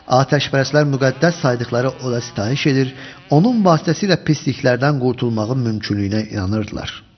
Atəşpərəstlər müqəddəs saydıqları oda sitayiş edir, onun vasitəsilə pisliklərdən qurtulmağın mümkünlüyünə inanırdılar.